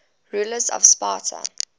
rulers of sparta